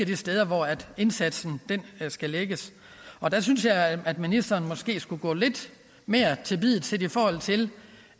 de steder hvor indsatsen skal lægges og der synes jeg at ministeren måske skulle gå lidt mere til biddet i forhold til